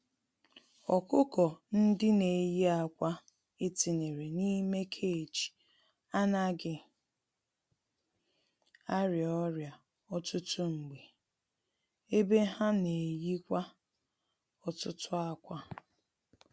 Ọkụkọ-ndị-neyi-ákwà etinyere n'ime cage anaghị arịa ọrịa ọtụtụ mgbe, ebe ha n'eyikwa ọtụtụ ákwà.